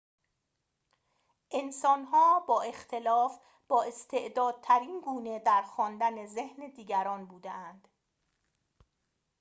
انسان‌ها با اختلاف بااستعدادترین گونه در خواندن ذهن دیگران بوده‌اند